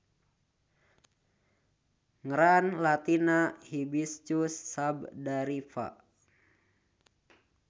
Ngran latinna Hibiscus sabdariffa.